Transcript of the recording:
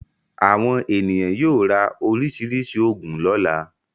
Àwọn ènìyàn yóò ra oríṣiríṣi òògùn lọ́la.